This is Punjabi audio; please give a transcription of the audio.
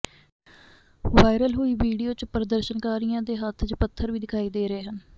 ਵਾਇਰਲ ਹੋਈ ਵੀਡੀਓ ਚ ਪ੍ਰਦਰਸ਼ਨਕਾਰੀਆਂ ਦੇ ਹੱਥਾਂ ਚ ਪੱਥਰ ਵੀ ਦਿਖਾਈ ਦੇ ਰਹੇ ਹਨ